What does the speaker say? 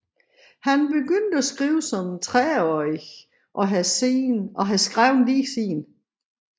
Han begynde at skrive som trediveårig og har skrevet lige siden